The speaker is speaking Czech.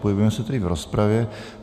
Pohybujeme se tedy v rozpravě.